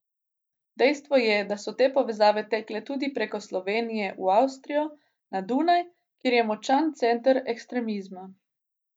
Dejstvo je, da so te povezave tekle tudi preko Slovenije v Avstrijo, na Dunaju, kjer je močan center ekstremizma.